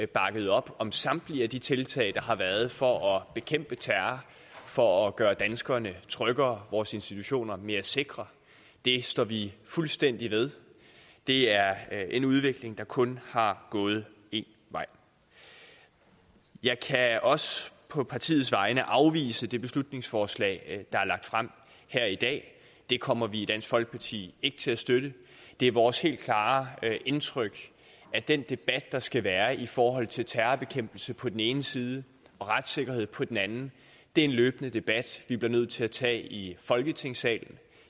bakket op om samtlige af de tiltag der har været for at bekæmpe terror for at gøre danskerne tryggere vores institutioner mere sikre det står vi fuldstændig ved det er en udvikling der kun har gået én vej jeg kan også på partiets vegne afvise det beslutningsforslag der er lagt frem her i dag det kommer vi i dansk folkeparti ikke til at støtte det er vores helt klare indtryk at den debat der skal være i forhold til terrorbekæmpelse på den ene side og retssikkerhed på den anden er en løbende debat vi bliver nødt til at tage i folketingssalen